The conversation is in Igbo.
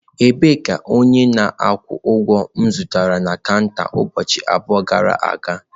Ebee ka onye na-akwụ ụgwọ m zutere na kanta ụbọchị abụọ gara aga nọ?